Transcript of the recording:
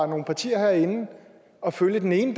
nogle partier herinde at følge den ene